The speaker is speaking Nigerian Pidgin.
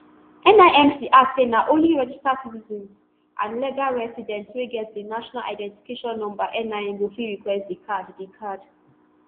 nimc add say na only registered citizens and legal residents wey get di national identification number nin go fit request di card di card